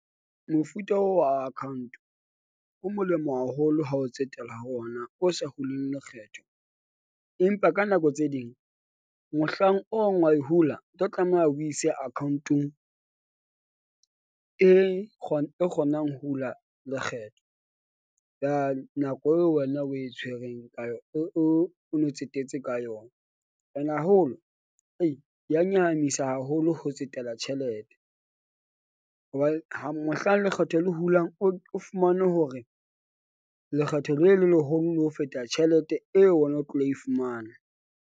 Mofuta oo wa account o molemo haholo ha o tsetela ho ona o sa huling lekgetho. Empa ka nako tse ding mohlang ong wa e hula o tlo tlameha o ise account-ong e , e kgonang hula lekgetho. Ka nako eo wena o e tshwereng ka yona, o o no tsetetse ka yona and haholo ei ya nyahamisa haholo ho tsetela tjhelete. Hobane ha mohlang lekgetho le hulang o fumane hore lekgetho le le leholo le ho feta tjhelete eo wena o tlilo e fumana.